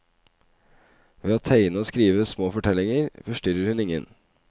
Ved å tegne og skrive små fortellinger forstyrret hun ingen.